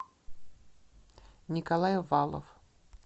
николай валов